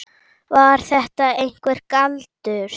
Var þetta einhver galdur?